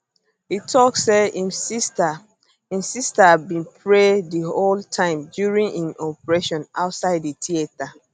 e tok say im sister im sister bin pray di whole time during im operation outside di theatre